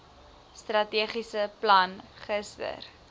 strategiese plan gister